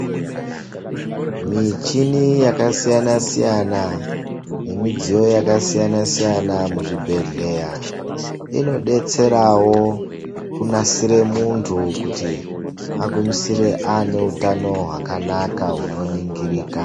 Michini yakasiyana siyana nemidziyo yakasiyana siyana muzvibhehlera inobetserawo kunasire muntu kuti agumisere aneutano hwakanaka hunoningirika